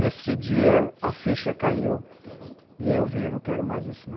Nesse dia, a ficha caiu e eu vi, ''eu não quero mais isso, não.''